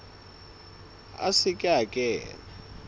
a se ke a kena